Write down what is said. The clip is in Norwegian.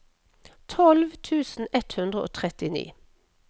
tolv tusen ett hundre og trettini